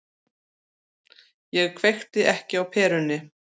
Ég kveikti ekki á perunni.